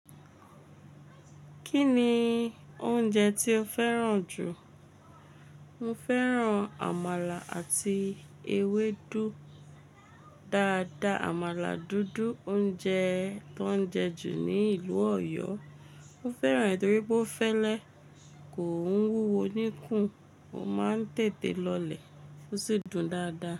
Kíni oúnjẹ tí o fẹ́ràn jù? Mo fẹ́ràn àmàlà àti ewédú dáadáa. Àmàlà dúdú, oúnjẹ tó ń jẹ jù ní ìlú Ọ̀yọ́. Mo fẹ́ràn ẹ̀ torí pé ó fẹ́lẹ́, kò ń wúwo níkùn, ó máa ń tètè lọlẹ̀ ó sì dùn dáadáa.